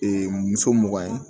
muso mugan ye